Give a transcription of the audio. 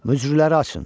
Möcürüləri açın.